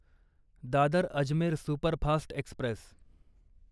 Dadar Ajmer superfast Express